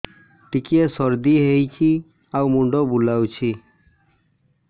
ଟିକିଏ ସର୍ଦ୍ଦି ହେଇଚି ଆଉ ମୁଣ୍ଡ ବୁଲାଉଛି